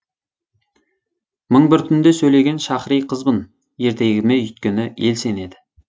мың бір түнде сөйлеген шахри қызбын ертегіме өйткені ел сенеді